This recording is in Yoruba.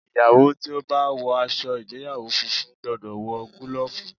Ìyàwó tí ó bá wọ aṣọ ìgbéyàwó funfun gbọ́dọ̀ wọ gúlọ̀fù.